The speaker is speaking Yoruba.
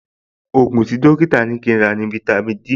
Ògùn tí dọ́kítà ní kí n rà ní fáítámì Dí